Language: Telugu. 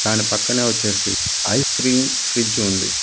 దాని పక్కనే వచ్చేసి ఐస్ క్రీం ఫ్రిజ్ ఉంది.